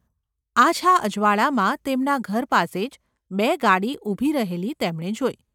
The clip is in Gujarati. આછા અજવાળામાં તેમના ઘર પાસે જ બે ગાડી ઊભી રહેલી તેમણે જોઇ.